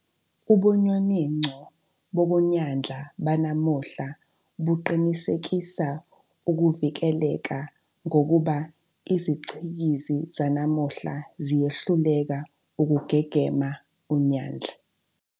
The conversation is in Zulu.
Ubunyoninco bokunyandla banamuhla buqinisekisa ukuvikeleka ngokuba iziCikizi zanamuhla ziyehluleka ukugegema unyandla.